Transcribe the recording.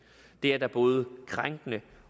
det er da både krænkende